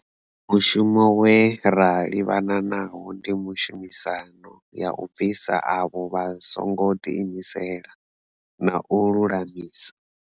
Mushumo we ra livhana nawo ndi tshumisano ya u bvisa avho vha songo ḓiimisela, na u lulamisa.